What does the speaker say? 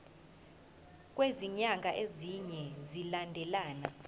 kwezinyanga ezine zilandelana